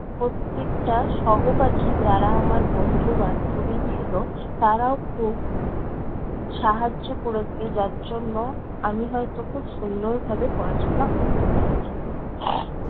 প্রত্যেকটা সহপাঠী যারা আমার বন্ধু-বান্ধবী ছিল, তারাও খুব সাহায্য করেছে যার জন্য আমি হয়ত খুব সুন্দরভাবে পড়াশোনা করতে পেরেছি।